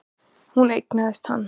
Hún eignaðist hann.